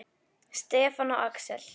Stefán og Axel.